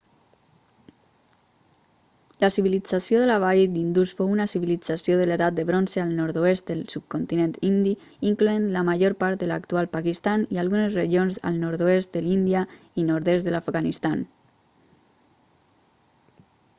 la civilització de la vall d'indus fou una civilització de l'edat de bronze al nord-oest del subcontinent indi incloent la major part de l'actual pakistan i algunes regions al nord-oest de l'índia i nord-est de l'afganistan